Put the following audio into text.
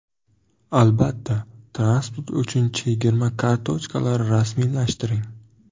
Albatta, transport uchun chegirma kartochkalari rasmiylashtiring.